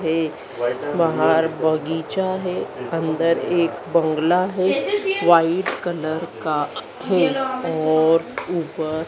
है बाहर बगीचा है अंदर एक बंगला है वाइट कलर का है और ऊपर --